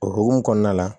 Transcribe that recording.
O hokumu kɔnɔna la